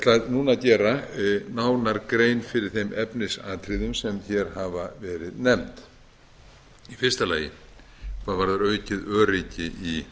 núna að gera nánar grein fyrir þeim efnisatriðum sem hér hafa verið nefnd í fyrsta lagi hvað varðar aukið öryggi í